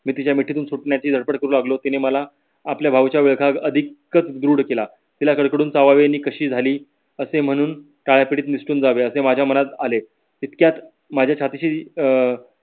मी तिच्या मिठीतून सुटण्याची धडपड करू लागलो तिने मला आपल्या भाऊच्या अधिकच ध्रुड केला कशी झाली असे म्हणून तडापीतीत निसटून जावे असे माझ्या मनात आले. तितक्यात माझ्या छातीशी अं